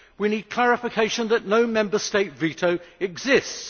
We need clarification that no Member State veto exists.